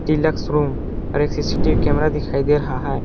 Deluxe room और एक C C T V camera दिखाई दे रहा है।